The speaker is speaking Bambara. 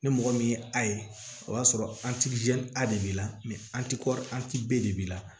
Ni mɔgɔ min ye a ye o y'a sɔrɔ de b'i la de b'i la